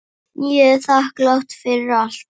Ég er þakklát fyrir allt.